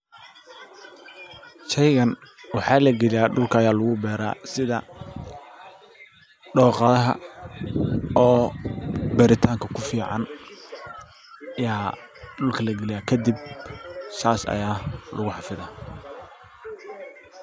Shaygan waxaa lagaliya dhulka aya lagu beera sida dooqadaha oo beeritanka ku fican ya dhulka lagaliya kadib sas aya lagu xafida.